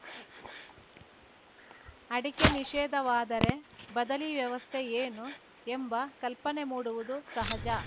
ಅಡಕೆ ನಿಷೇಧವಾದರೆ ಬದಲಿ ವ್ಯವಸ್ಥೆ ಏನು ಎಂಬ ಕಲ್ಪನೆ ಮೂಡುವುದು ಸಹಜ